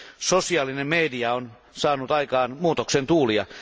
Sosiaalinen media on saanut aikaan muutoksen tuulia.